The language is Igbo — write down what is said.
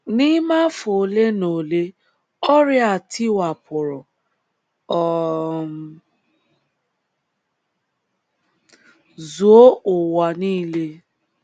N’ime afọ ole na ole, ọrịa a tiwapụrụ um zuo ụwa nile.